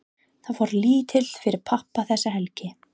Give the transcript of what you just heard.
Það fór lítið fyrir pabba þessa helgi.